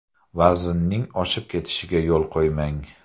Vaznning oshib ketishiga yo‘l qo‘ymang.